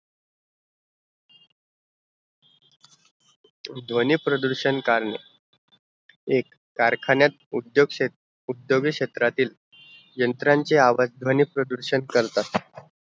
ध्वनी प्रदुषण करणे एक कारखान्यात उद्योग क्षेत क्षेत्रातील उद्योगीक क्षेत्रातील यंत्राचे आवाज़ ध्वनी प्रदूषण करतात